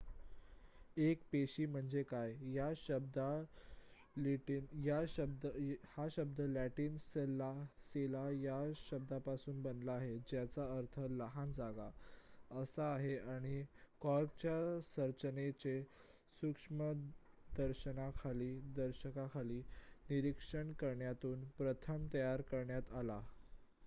"एक पेशी म्हणजे काय? हा शब्द लॅटिन "सेला" या शब्दापासून बनला आहे ज्याचा अर्थ "लहान जागा" असा आहे आणि कॉर्कच्या संरचनेचे सूक्ष्मदर्शकाखाली निरीक्षण करण्यातून प्रथम तयार करण्यात आला.